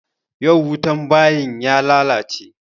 Yau wutan bayin ya lalace.